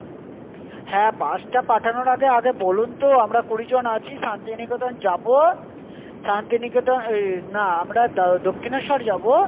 হ্যাঁ, Bus টা পাঠানোর আগে, আগে বলুন তো আমরা কুড়ি জন আছি শান্তিনিকেতন যাব, শান্তিনিকেতন এই না, আমরা দক্ষিণেশ্বর যাব।